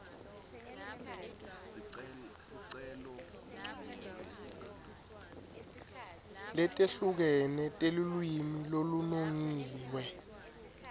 letehlukene telulwimi lolunongiwe